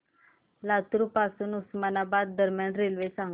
लातूर पासून उस्मानाबाद दरम्यान रेल्वे सांगा